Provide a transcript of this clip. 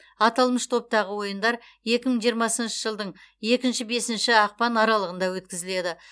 аталмыш топтағы ойындар екі мың жиырмасыншы жылдың екінші бесінші ақпан аралығында өткізіледі